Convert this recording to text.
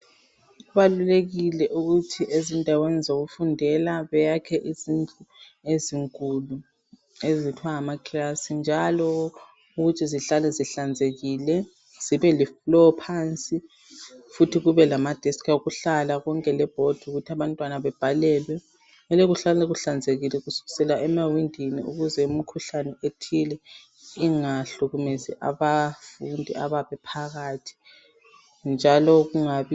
kubalulekile ukuthi ezindaweni zokufundela beyakhe izindlu ezinkulu okuthiwa nga class njalo zihlale zihlanzekile kube le floorphansi futhi kube lama desk okuhlala konke le board ukuthi abantwana bebhalelwe kumele kuhlale kuhlanzekile kuskisekla emawindini ukuze imkhuhlane ethile ingahlukumezi abafundi abayabe bephakathi njalo